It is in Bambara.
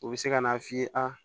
U bɛ se ka n'a f'i ye aa